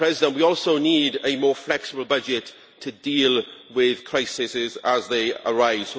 We also need a more flexible budget to deal with crises as they arise.